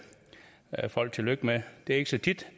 folk tillykke med det er ikke så tit